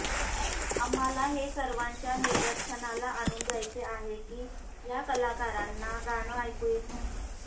आम्हाला हे सर्वाच्या निदर्शनाला आणून द्यायचे आहे की या कलाकारांना गाणं ऐकू येत नाही